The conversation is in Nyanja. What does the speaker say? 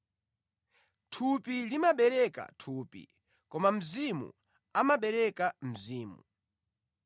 Thupi limabereka thupi, koma Mzimu amabereka mzimu.